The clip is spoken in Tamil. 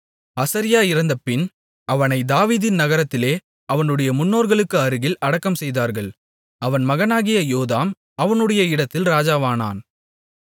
அசரியா இறந்தபின் அவனைத் தாவீதின் நகரத்திலே அவனுடைய முன்னோர்களுக்கு அருகில் அடக்கம்செய்தார்கள் அவன் மகனாகிய யோதாம் அவனுடைய இடத்தில் ராஜாவானான்